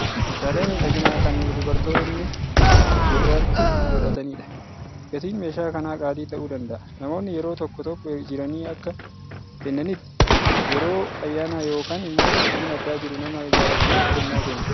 Meeshaalee miidhaginaa kan dubartoonni gurratti godhatanidha. Gatiin meeshaa kanaa qaalii ta'uu danda'a. Namoonni yeroo tokko tokko jiranii akka kennaatti, yeroo ayyaanaa yookaan immoo qophiin addaa jiru nama jaalataniif kennaa kennu.